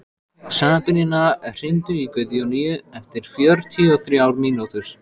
Sabrína, hringdu í Guðjóníu eftir fjörutíu og þrjár mínútur.